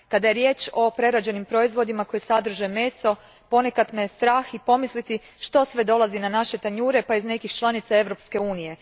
Kada je riječ o prerađenim proizvodima koji sadrže meso, ponekad me strah i pomisliti što sve dolazi na naše tanjure, pa i iz nekih članica Europske unije.